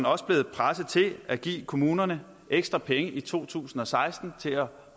også blevet presset til at give kommunerne ekstra penge i to tusind og seksten til at